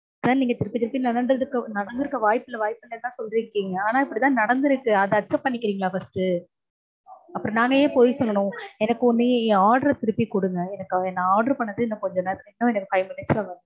sir நீங்க திருப்பி திருப்பி நடந்திருக்க வாய்ப்பில்ல வாய்ப்பில்லனுதா சொல்றீங்க. ஆனா இப்படிதா நடந்திருக்கு. அத accept பண்ணிக்கிறீங்களா first அப்பறம் நாங்க ஏன் பொய் சொல்லனும்? எனக்கு என்னோட order அ திருப்பி கொடுங்க. நா order பண்ணது எனக்கு கொஞ்ச நேரத்தில இன்னும் five minutes ல வரனும்.